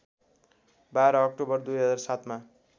१२ October २००७ मा